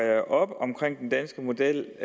op om den danske model